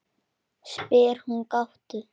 spyr hún gáttuð.